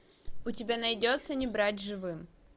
у тебя найдется не брать живым